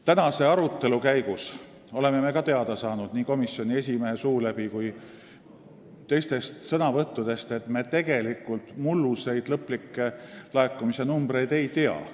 Tänase arutelu käigus oleme ka teada saanud nii komisjoni esimehe suu läbi kui ka teistest sõnavõttudest, et me tegelikult mulluseid lõplikke laekumise numbreid ei tea.